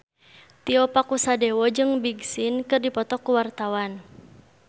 Tio Pakusadewo jeung Big Sean keur dipoto ku wartawan